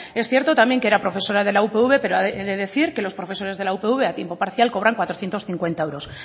es cierto también que era profesora de la upv pero he de decir que los profesores de la upv cobran cuatrocientos cincuenta euros